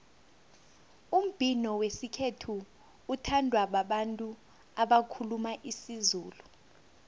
umbhino wesikhethu uthandwa babantu abakhuluma isizulu